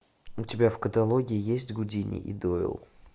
у тебя в каталоге есть гудини и дойл